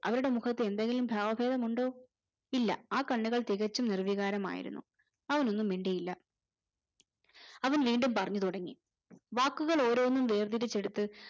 അവരുടെ മുഖത്തു എന്തേലും ബാവാബേദം ഉണ്ടോ ഇല്ല ആ കണ്ണുകൾ തികച്ചും നിർവികാരാമായിരുന്നു അവർ ഒന്നും മിണ്ടീല അവൻ വീണ്ടും പറഞ്ഞു തുടങ്ങി വാക്കുക്കൾ ഓരോന്നും വേർതിരിച്ചു എടുത്ത്